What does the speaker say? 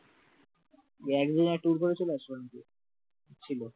একদিনের tour করে চলে আসলো ছিল